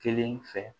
Kelen fɛ